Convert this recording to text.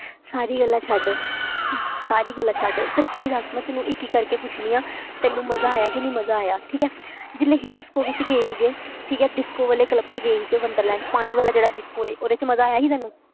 ਸਾਰੀਆਂ ਗੱਲਾਂ ਛੱਡ ਸਾਰੀਆਂ ਗੱਲਾਂ ਛੱਡ ਸੱਚੀ ਦੱਸ ਮੈਂ ਤੈਨੂੰ ਇੱਕ ਇੱਕ ਕਰਕੇ ਪੁੱਛਦੀ ਹਾਂ ਤੈਨੂੰ ਮਜ਼ਾ ਆਇਆ ਕਿ ਨਹੀਂ ਮਜ਼ਾ ਆਇਆ, ਠੀਕ ਹੈ ਜਿਵੇਂ ਅਸੀਂ disco ਵਿੱਚ ਗਏ ਸੀਗੇ, ਠੀਕ ਹੈ disco ਵਾਲੇ club ਵਿੱਚ ਗਏ ਸੀਗੇ ਵੰਡਰਲੈਂਡ, ਪਾਣੀ ਵਾਲਾ ਜਿਹੜਾ disco ਹੈ, ਉਹਦੇ ਵਿੱਚ ਮਜ਼ਾ ਆਇਆ ਸੀ ਤੈਨੂੰ?